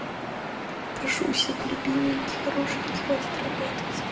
прошу у всех любименький хорошенький хватит работать